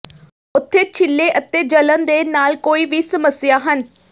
ਉੱਥੇ ਛਿੱਲੇ ਅਤੇ ਜਲਣ ਦੇ ਨਾਲ ਕੋਈ ਵੀ ਸਮੱਸਿਆ ਹਨ